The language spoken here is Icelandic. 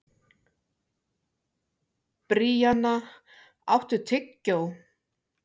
Bríanna, áttu tyggjó?